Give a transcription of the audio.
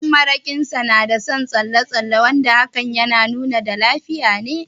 Ɗan maraƙin Sa na da son tsalle tsalle wanda hakan na nuni da lafiya ne.